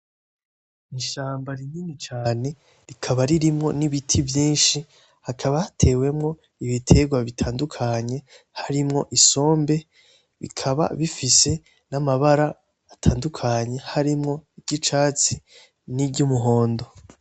Ishamba rinini cane rikaba ririmwo ibiti vyinshi hakaba hatewemwo ibiterwa butandukanye harimwo isombe , bikaba bifise namabara atandukanye harimwo iryicatsi niry'umuhondo.